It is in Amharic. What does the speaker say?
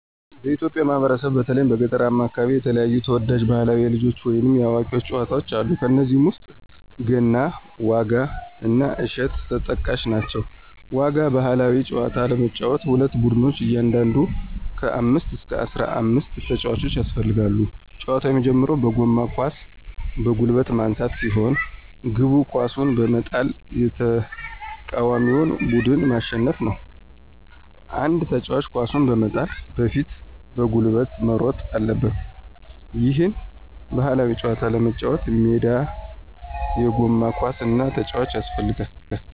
በኢትዮጵያ ማህበረሰብ በተለይም በገጠራማው አከባቢ የተለያዩ ተወዳጅ ባህላዊ የልጆች ወይንም የአዋቂዎች ጨዋታወች አሉ። ከነዚህም ውስጥ ገና፣ ዋጋ እና እሸት ተጠቃሽ ናቸው። ዋጋ ባህላዊ ጨዋታ ለመጫወት ሁለት ቡድኖች እያንዳንዱ ከ አምስት እስከ አስራአምስት ተጫዋቾች ያስፈልጋሉ። ጨዋታው የሚጀምረው በጎማ ኳስን በጉልበት ማንሳት ሲሆን፤ ግቡ ኳሱን በመጣል የተቃዋሚውን ቡድን ማሸነፍ ነው። አንድ ተጫዋች ኳሱን በመጣል በፊት በጉልበት መሮጥ አለበት። ይህን ባህላዊ ጨዋታ ለመጫወት ሜዳ፣ የጎማ ኳስ እና ተጫዋቾች ያስፈልጋሉ።